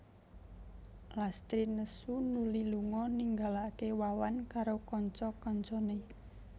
Lastri nesu nuli lunga ninggalaké Wawan karo kanca kancané